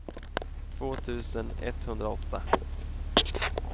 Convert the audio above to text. två tusen etthundraåtta